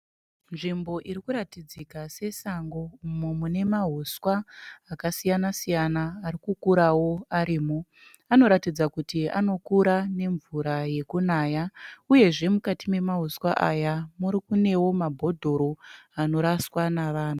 Nzvimbo irikuratidzika sesango umo mune mahuswa akasiyana siyana arikukurao arimo. Anoratidza kuti anokura nemvura yekunaya uyezve mukati memahuswa aya mune mabhodhoro anoraswa nevanhu.